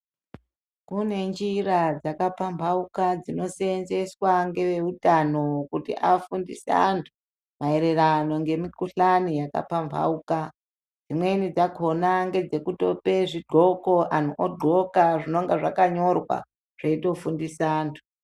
Kune nzira dzakapambauka dzinoseenzeswa ngeveutano kuti vafundiswe antu maererano nemukuhlani yakapambauka dzimweni dzakona ndedzekupa vantu zvidhloko antu adhloka zvinenge zvakanyorwa zveitofundisa antu.